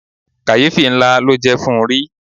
Kàyéfì ńlá ló jẹ́ fún ri.